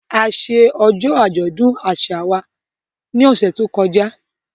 A ṣe ọjọ́ àjọ̀dún àṣà wa ní ọ̀sẹ̀ tó kọjá